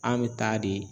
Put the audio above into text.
An bɛ taa de